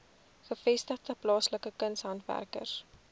gevestigde plaaslike kunshandwerkers